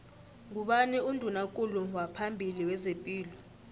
ngubani unduna kulu waphambili wezepilo